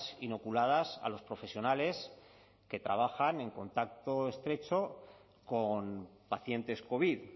inoculadas a los profesionales que trabajan en contacto estrecho con pacientes covid